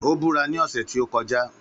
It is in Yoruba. Ó búra ní ọ̀sẹ̀ tí ó kọjá